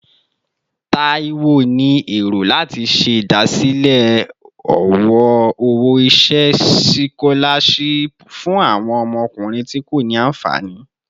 Taiwo ni ero lati ṣe idasile owo-iṣẹ sikolashipu fun awọn ọmọkunrin ti ko ni anfani